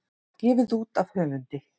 Gefið út af höfundi.